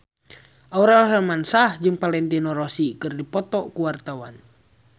Aurel Hermansyah jeung Valentino Rossi keur dipoto ku wartawan